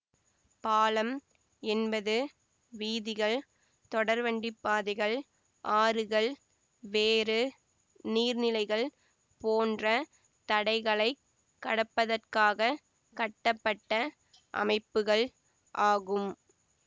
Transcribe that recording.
பாலம் என்பது வீதிகள் தொடர்வண்டிப்பாதைகள் ஆறுகள் வேறு நீர்நிலைகள் போன்ற தடைகளைக் கடப்பதற்காக கட்டப்பட்ட அமைப்புகள் ஆகும்